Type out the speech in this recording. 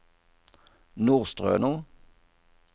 Nordstrøno